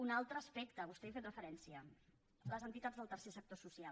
un altre aspecte vostè hi ha fet referència les entitats del tercer sector social